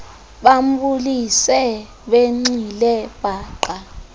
bambulise benxile paqa